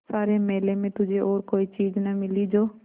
सारे मेले में तुझे और कोई चीज़ न मिली जो